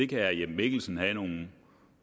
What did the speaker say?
kan herre jeppe mikkelsen have nogle